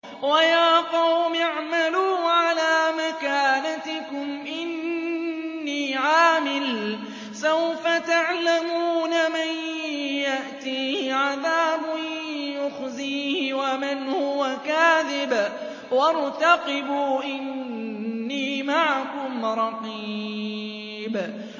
وَيَا قَوْمِ اعْمَلُوا عَلَىٰ مَكَانَتِكُمْ إِنِّي عَامِلٌ ۖ سَوْفَ تَعْلَمُونَ مَن يَأْتِيهِ عَذَابٌ يُخْزِيهِ وَمَنْ هُوَ كَاذِبٌ ۖ وَارْتَقِبُوا إِنِّي مَعَكُمْ رَقِيبٌ